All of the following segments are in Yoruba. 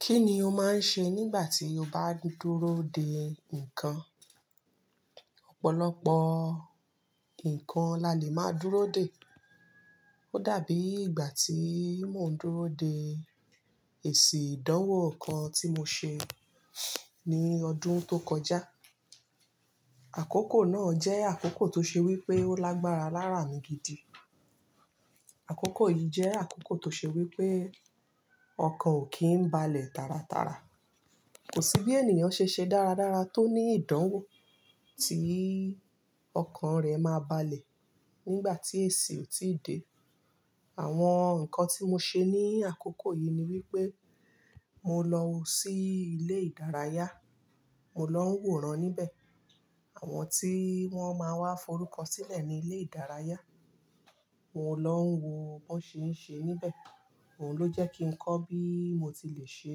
Kí ni o máa ń ṣe nígbà tí o bá ń dúró dè nǹkan? Ọ̀pọ̀lọpọ̀ nǹkan lálé máa dúró dè. Ó dàbí ìgbà tí mo ń dúró dè èsì ìdánwò kan tí mo ṣe ní ọdún ti o kọjá. Àkókò náà jẹ́ àkókò ti o ṣe wí pé ó lágbára lára mi gidi. Àkókò yìí jẹ́ àkókò ti o ṣe wí pé ọkàn ò kí ń balẹ̀ tàràtàrà. Kò sí bí ènìyàn ṣe ṣe dáradára tó ní ìdánwò tí ọkàn rẹ̀ máa balẹ̀ nígbà tí èsì ò tíì dé. Àwọn nǹkan tí mo ṣe ní àkókò yìí ni wípé mo lọ sí ilé ìdárayá, mo lọ ń wòran níbẹ̀. Àwọn tí wọ́n máa ń wá forúko sílẹ̀ ní ilé ìdárayá, mo lọ ń wo bó n ṣe ń ṣe níbẹ̀. Òhun ló jẹ́ kí n kọ́ bí mo ti le ṣe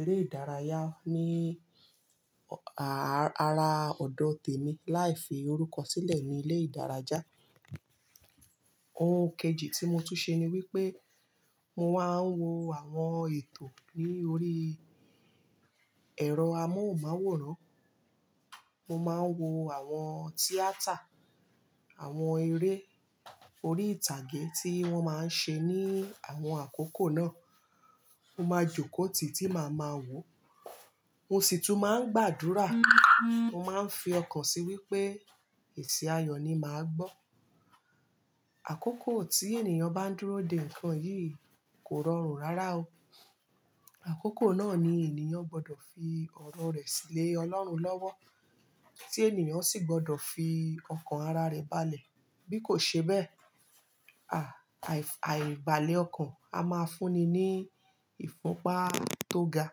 eré ìdárayá ní ara ọ̀dọ̀ tèmi láì fi oruko sílẹ̀ ní ilé ìdárayá. Ohun kejì tí mo tún ṣe ni wípé mo máa ń wo àwọn ètò ní orí ẹ̀rọ amóhùnmáwòrán. Mo máa ń wo àwọn tíátà, àwọn eré orí ìtàgé tí wọ́n máa ń ṣe ní àwọn àkókò náà. Mo máa jókòó tìi ti màá máa wò. Mo sì tún máa ń gbàdúrà, mo máa ń fi ọkàn sí i wípé èsì ayọ̀ ni màá gbọ́. Àkókò tí ènìyàn bá ń dúró dè nǹkan yìí kò rọrùn rárá o. Àkókò náà ni ènìyàn gbọdọ̀ fi ọrọ rẹ̀ sílé Ọlọ́run lọ́wọ́. Tí ènìyàn sì gbọdọ̀ fi ọkàn ara rẹ̀ balẹ̀. Bí kò ṣe bẹ́ẹ̀, àì-balẹ̀ ọkàn a máa fúnni ní ifunpa ti o ga.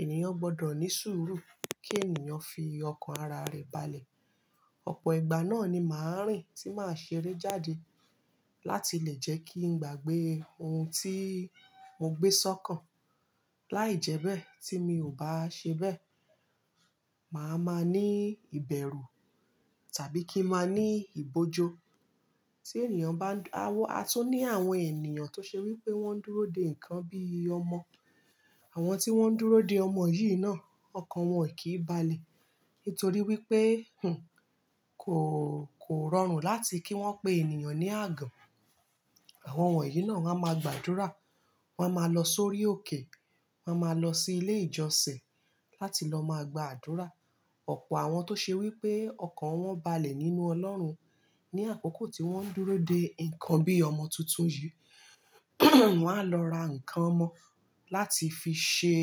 Ènìyàn gbọdọ̀ ní sùúrù kí ènìyàn fi ọkàn ara rẹ̀ balẹ̀. Ọ̀pọ̀ ìgbà náà ni màá rìn tí màá ṣeré jáde láti lè jẹ́ kí n gbàgbé ohun tí mo gbé sọ́kan. Láìjẹ́bẹ́ tí mi ò bá ṣe bẹ́ẹ̀, màá máa ní ìbẹ̀rù tàbí kí maa ní ibojo Tí ènìyàn bá ń-- a tun ní àwọn ènìyàn ti o ṣe wí pé wọ́n ń dúró dè nǹkan bí ọmọ. Àwọn tí wọ́n ń dúró dè ọmọ yìí náà, ọkàn wọn kìí balẹ̀ nítorí wípé, hùn, kò, kò rọrùn láti kí wọ́n pé ènìyàn ní àgàn. Àwọn wọ̀nyí náà wa máa gbàdúrà, wa máa lọ sórí òkè, wọ́n máa lọ sí ilé ìjọsìn láti lọ máa gbàdúrà. Ọ̀pọ̀ àwọn tó ṣe wí pé ọkàn wọn balẹ̀ nínú Ọlọ́run ní àkókò tí wọ́n ń dúró dè nǹkan bí ọmọ tuntun yìí wá lọ ra nǹkan kan láti fi ṣe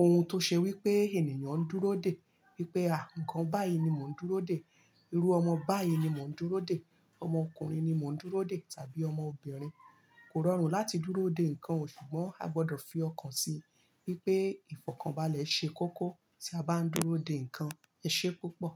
ohun tó ṣe wí pé ènìyàn ń dúró dè. Wípé, "Àh, nǹkan báyìí ni mò ń dúró dè. Irú ọmọ báyìí ni mò ń dúró dè. Ọmọ ọkùnrin ni mò ń dúró dè tàbí ọmọ obìnrin." Kò rọrùn láti dúró dè nǹkan, ṣùgbọ́n a gbọdọ̀ fi ọkàn sí i wípé ìfọ̀kànbalẹ̀ ṣe kókó tí a bá ń dúró dè nǹkan. Ẹ ṣé púpọ̀.